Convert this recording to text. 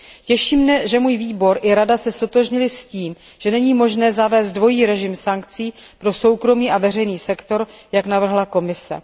Těší mě, že můj výbor i Rada se ztotožnily s tím, že není možné zavést dvojí režim sankcí pro soukromý a veřejný sektor, jak navrhla Komise.